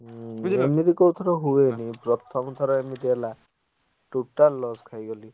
ଏମିତି କୋଉ ଥର ହୁଏନି ପ୍ରଥମ ଥର ଏମିତି ହେଲା totally loss ଖାଇଗଲି।